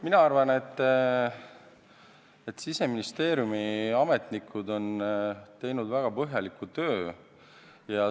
Mina arvan, et Siseministeeriumi ametnikud on teinud väga põhjaliku töö.